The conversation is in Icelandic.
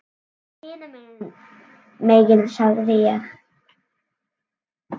Farðu hinum megin sagði ég.